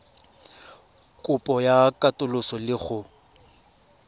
kopo ya katoloso le go